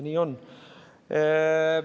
Nii on.